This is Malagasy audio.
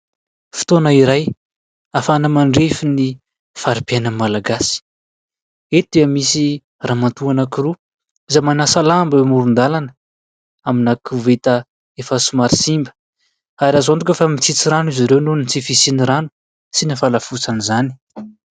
Fotoana iray afahana mandrefy ny fari_piainan'ny Malagasy. Eto dia misy ramatoa roa izay manasa lamba eo amoron_dàlana amin'ny koveta efa somary simba. Ary azo antoka fa mitsitsy rano izy ireo noho ny tsy fisian'ny rano sy ny fahalafosan'izany.